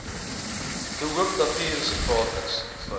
de hoopnatuurreservaat insluit